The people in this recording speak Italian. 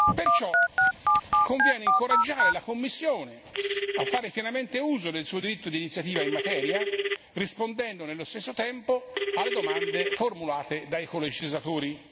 Perciò conviene incoraggiare la Commissione a fare pienamente uso del suo diritto d'iniziativa in materia, rispondendo nello stesso tempo alle domande formulate dai colegislatori.